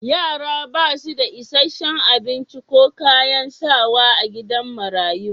Yara ba su da isashen abinci ko kayan sawa a gidajen marayu